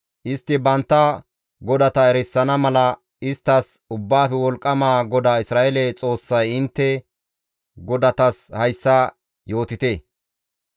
Istti bantta godata erisana mala isttas Ubbaafe Wolqqama GODAA Isra7eele Xoossay intte godatas hayssa yootite.